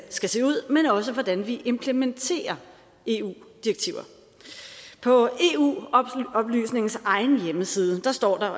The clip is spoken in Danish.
skal se ud men også hvordan vi implementerer eu direktiver på eu oplysningens egen hjemmeside står der